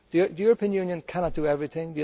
The European Union cannot do everything.